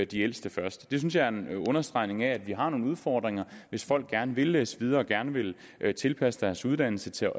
de ældste først det synes jeg er en understregning af at vi har nogle udfordringer hvis folk gerne vil læse videre og også gerne vil tilpasse deres uddannelse til